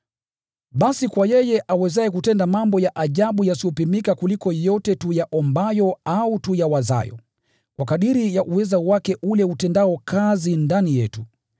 Basi kwa yeye awezaye kutenda mambo ya ajabu yasiyopimika kuliko yote tuyaombayo au tuyawazayo, kwa kadiri ya uweza wake ule utendao kazi ndani yetu,